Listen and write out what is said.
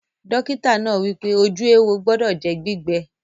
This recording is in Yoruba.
Dọ́kítà náà wípé, ojú éwo gbọdọ̀ jẹ́ gbígbẹ